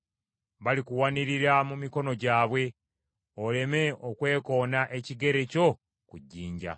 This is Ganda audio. Balikuwanirira mu mikono gyabwe; oleme okwekoona ekigere kyo ku jjinja.